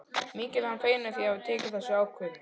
Mikið er hann feginn því að hafa tekið þessa ákvörðun.